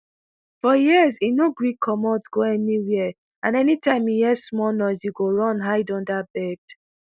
for years e no gree comot go anywia and anytime e hear small noise e go run hide under bed.